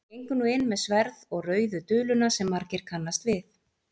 hann gengur nú inn með sverð og rauðu duluna sem margir kannast við